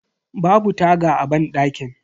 Babu taga a banɗakin.